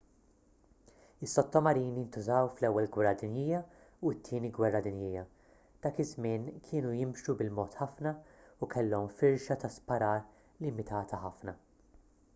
is-sottomarini ntużaw fl-ewwel gwerra dinjija u t-tieni gwerra dinjija dak iż-żmien kienu jimxu bil-mod ħafna u kellhom firxa ta' sparar limitata ħafna